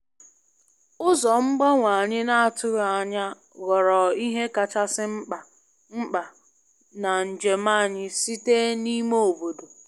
Ụzọ mgbanwe anyị na-atụghị anya ghọrọ ihe kachasị mkpa mkpa na njem anyị site n'ime obodo.